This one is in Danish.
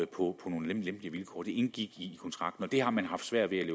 på nogle lempelige vilkår det indgik i kontrakten og det har man haft svært ved at